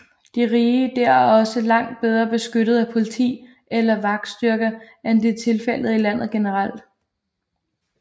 De rige dér er også langt bedre beskyttet af politi eller vagtstyrker end det er tilfældet i landet generelt